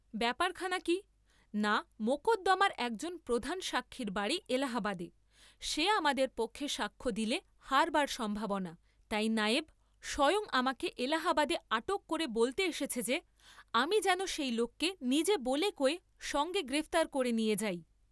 ব্যাপারখানা কি, না মকদ্দামার একজন প্রধান সাক্ষীর বাড়ী এলাহাবাদে, সে আমাদের পক্ষে সাক্ষ্য দিলে হারবার সম্ভাবনা, তাই নায়েব স্বয়ং আমাকে এলাহাবাদে আটক করে বলতে এসেছে যে, আমি যেন সেই লোককে নিজে বলে কয়ে সঙ্গে গ্রেপ্তার করে নিয়ে যাই।